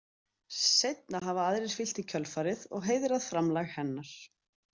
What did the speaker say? Seinna hafa aðrir fylgt í kjölfarið og heiðrað framlag hennar.